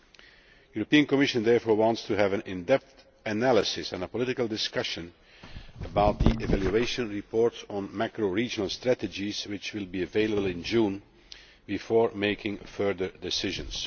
The European Commission therefore wants to have an in depth analysis and a political discussion about the evaluation report on macro regional strategies, which will be available in June, before making further decisions.